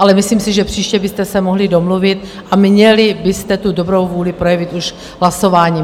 Ale myslím si, že příště byste se mohli domluvit a měli byste tu dobrou vůli projevit už hlasováním.